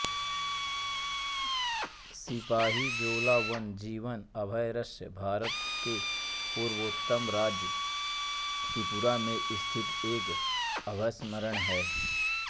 सिपाहीजोला वन्य जीवन अभयारण्य भारत के पूर्वोत्तर राज्य त्रिपुरा में स्थित एक अभयारण्य है